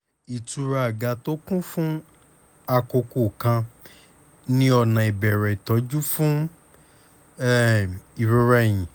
ìtura àga tó kún fún àkókò kan ni ọ̀nà ìbẹ̀rẹ̀ ìtọ́jú fún um ìrora ẹ̀yìn